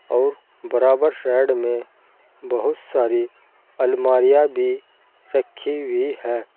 और बराबर साइड में बहुत सारी अलमारियां भी रखी हुई है।